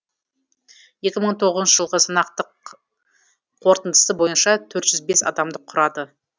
екі мың тоғызыншы жылғы санақтық қорытындысы бойынша төрт жүз бес адамды құрады